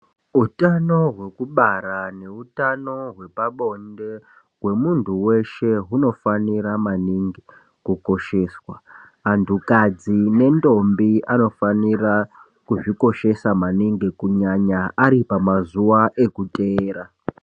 Utano hwekubara neutano hwepabonde hwemuntu weshe hunofanira maningi kukosheswa, antukadzi nendombi anofanira kuzvikoshesa maningi Kunyanya aripamazuwa ekuteera.